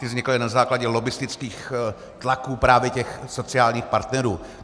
Ty vznikaly na základě lobbistických tlaků právě těch sociálních partnerů.